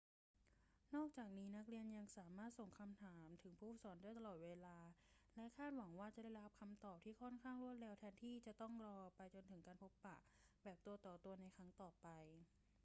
นอกจากนี้ นักเรียนยังสามารถส่งคำถามถึงผู้สอนได้ตลอดเวลาและคาดหวังว่าจะได้รับคำตอบที่ค่อนข้างรวดเร็วแทนที่จะต้องรอไปจนถึงการพบปะแบบตัวต่อตัวในครั้งต่อไป